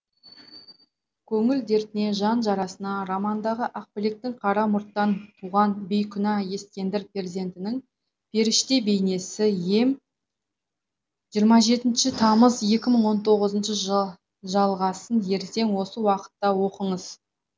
көңіл дертіне жан жарасына романдағы ақбілектің қара мұрттан туған бейкүнә ескендір перзентінің періште бейнесі ем жиырма жетінші тамыз екі мың он тоғызыншы жыл жалғасын ертең осы уақытта оқыңыз